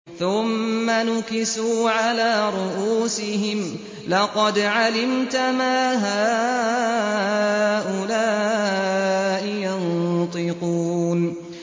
ثُمَّ نُكِسُوا عَلَىٰ رُءُوسِهِمْ لَقَدْ عَلِمْتَ مَا هَٰؤُلَاءِ يَنطِقُونَ